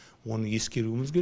оны ескеруіміз керек